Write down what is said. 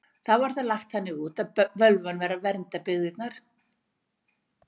Þá var það lagt þannig út að völvan væri að vernda byggðirnar.